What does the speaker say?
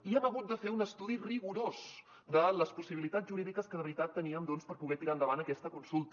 i hem hagut de fer un estudi rigorós de les possibilitats jurídiques que de veritat teníem doncs per poder tirar endavant aquesta consulta